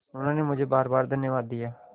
उन्होंने मुझे बारबार धन्यवाद दिया